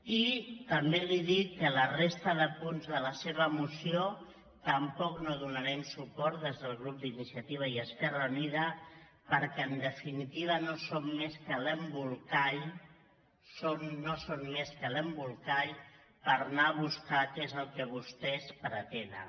i també li dic que a la resta de punts de la seva moció tampoc no hi donarem suport des del grup d’iniciativa i esquerra unida perquè en definitiva no són més que l’embolcall per anar a buscar què és el que vostès pretenen